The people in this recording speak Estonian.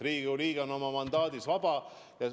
Riigikogu liige on oma mandaadi kasutamisel vaba.